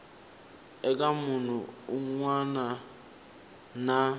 eka munhu wun wana na